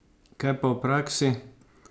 Kaj pa v praksi?